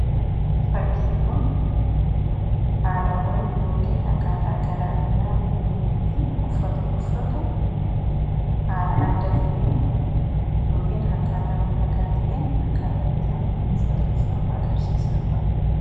fakkiin kun haalawwan yookn akkaataa garaagaraa namni itti offata uffatu haala adda ta'een yokn hakkaataamii dhagaa ta'een akkaataa itti namni uffata uffatu agarsiisa